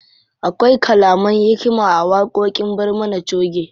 Akwai kalaman hikima a waƙoƙin barmana choge.